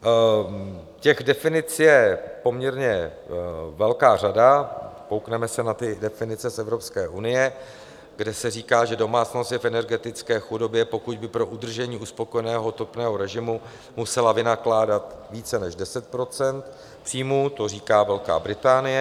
Těch definic je poměrně velká řada, koukneme se na ty definice z Evropské unie, kde se říká, že domácnost je v energetické chudobě, pokud by pro udržení uspokojivého topného režimu musela vynakládat více než 10 % příjmu, to říká Velká Británie.